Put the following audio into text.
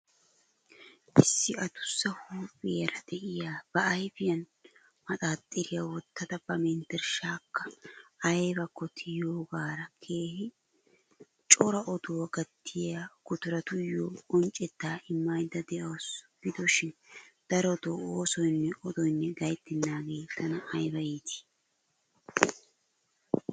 Issi adussa huuphphiyara de'iya ba ayfiyan maxaaxxiriya wottida ba menterishaakka aybbakko tiyoogaara keehin cora oduwa gattiya gutaratuyoo qonccetaa immaydda de'awusu. Gidoshiin darotoo oosoynne odoynne gayttennaagee tana aybba iittii.